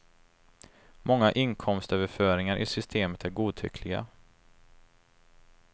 Många inkomstöverföringar i systemet är godtyckliga.